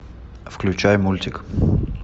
включай мультик